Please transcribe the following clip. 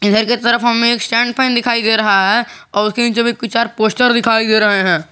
इधर के तरफ हमें स्टैंड फैन दिखाई दे रहा है और उसके नीचे भी कुछ चार पोस्टर दिखाई दे रहे हैं।